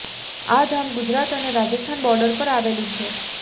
આ ધામ ગુજરાત અને રાજસ્થાન બોર્ડર પર આવેલું છે